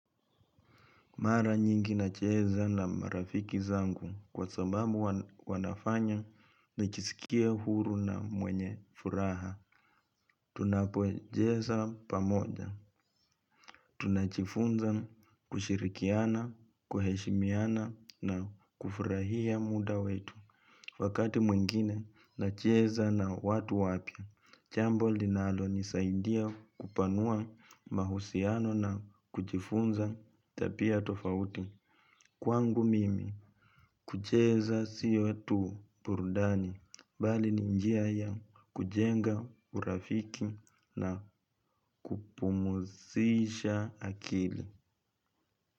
Mara nyingi nacheza na marafiki zangu kwa sababu wanafanya najisikia huru na mwenye furaha. Tunapocheza pamoja. Tunajifunza kushirikiana, kuheshimiana na kufurahia muda wetu. Wakati mwingine nacheza na watu wapya. Jambol linalonisaidia kupanua mahusiano na kujifunza tabia tofauti. Kwangu mimi kucheza sio tu burudani, bali ni njia ya kujenga urafiki na kupumzisha akili.